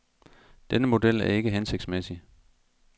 Denne model er ikke hensigtsmæssig.